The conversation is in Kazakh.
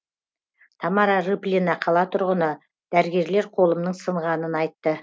тамара рыплина қала тұрғыны дәрігерлер қолымның сынғанын айтты